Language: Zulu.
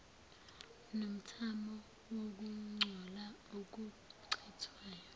nomthamo wokungcola okuchithwayo